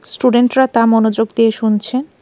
স্টুডেন্টরা তা মনোযোগ দিয়ে শুনছে.